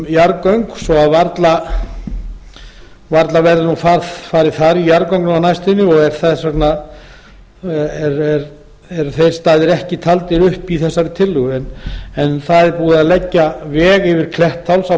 yrði kannað svo að varla verður nú farið þar í jarðgöng nú á næstunni og þess vegna eru þeir staðir ekki taldir upp í þessari tillögu en það er búið að leggja veg yfir klettsháls á